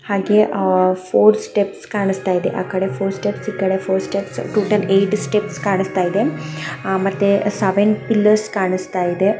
ಹಾಗೆ ಆ four steps ಕಾಣಿಸ್ತಾ ಇದೆ. ಆಕಡೆ ಫೋರ್ ಸ್ಟೆಪ್ಸ್ ಈಕಡೆ four steps total eight steps ಕಾಣ್ಸತಾಯಿದೆ. ಅಹ್ ಮತ್ತೆ ಸೆವೆನ್ ಫಿಲ್ಲರ್ಸ್ ಕಾಣಸ್ತಾಯಿದೆ .